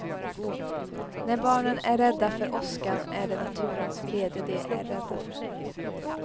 När barnen är rädda för åskan är det naturens vrede de är rädda för.